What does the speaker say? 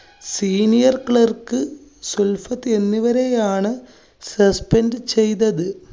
senior clerk Sulfath എന്നിവരെയാണ് suspend ചെയ്തത്.